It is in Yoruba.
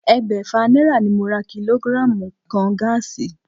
Ẹgbẹ́fà náírà ni mo ra kílógírààmù kan gáàsì